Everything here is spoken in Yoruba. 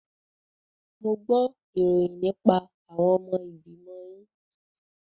Mo gbo ìròyìn nípa àwọn ọmọ ìgbìmọ̀ yín.